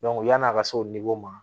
yan'a ka se o ma